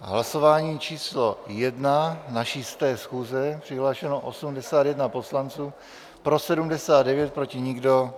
Hlasování číslo 1 naší 100. schůze, přihlášeno 81 poslanců, pro 79, proti nikdo.